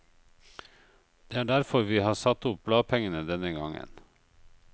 Det er derfor vi har satt opp bladpengene denne gangen.